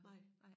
Nej